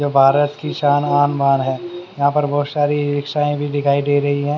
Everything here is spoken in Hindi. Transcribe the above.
जो भारत की शान आन बान है यहां पर बहोत सारी इ रिक्शाएं दिखाई दे रही हैं।